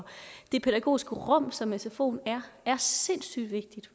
det pædagogiske rum som sfoen er er sindssygt vigtige